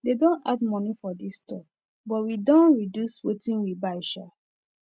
they don add money for this store but we don reduce wetin we buy sha